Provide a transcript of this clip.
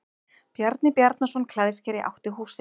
Bjarni Bjarnason klæðskeri átti húsið.